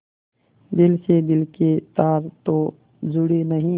दिल से दिल के तार तो जुड़े नहीं